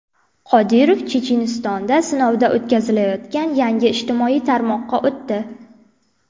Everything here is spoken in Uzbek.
Qodirov Chechenistonda sinovdan o‘tkazilayotgan yangi ijtimoiy tarmoqqa o‘tdi.